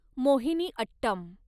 Mohiniyattam